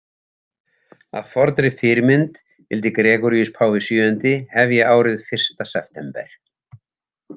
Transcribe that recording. Að fornri fyrirmynd vildi Gregoríus páfi VII hefja árið fyrsta september.